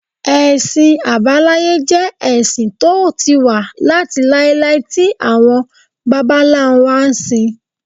Ẹ̀sìn àbáláyé jẹ́ ẹ̀sìn tó ti wà láti láíláí tí àwọn bàbá ńlá wa ń sìn